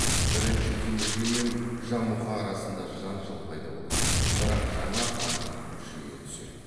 бірінші темүжин мен жамұха арасында жанжал пайда болады бірақ жаңа хандық күшейе түседі